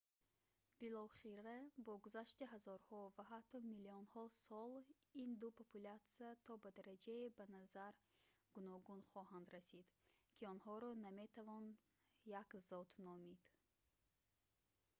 билохира бо гузашти ҳазорҳо ва ҳатто миллионҳо сол ин ду популятсия то ба дараҷае ба назар гуногун хоҳанд расид ки онҳоро наметавон як зот номид